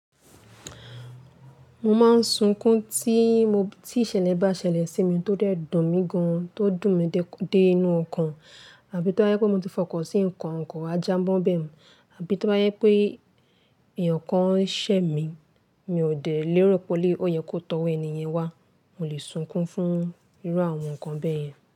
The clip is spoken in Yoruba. Mo máa ń sunkún tí ìṣẹ̀lẹ̀ bá ṣẹlẹ̀ sí mi tó dẹ́dùn mi gan-an, tó dùn mí dé inú ọkàn, àbí tó bá jẹ́ pé mo ti fọkàn sí nǹkan, kọ̀ wa já mọ́n bẹ̀ mo, àbí tó bá jẹ́ pé èèyàn kan ṣẹ̀ mí, mi ò dẹ̀ lérò pé, ó yẹ kó tọwọ́ ènìyàn wá. Mo lè sunkún fún irú àwọn nǹkan bẹ́ẹ̀ yẹn.